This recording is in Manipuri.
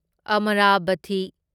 ꯑꯃꯔꯥꯚꯊꯤ